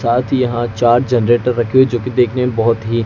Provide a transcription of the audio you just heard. साथ ही यहां चार जनरेटर रखे हुए जो की देखने में बहोत ही--